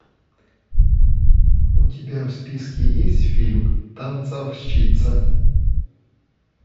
у тебя в списке есть фильм танцовщица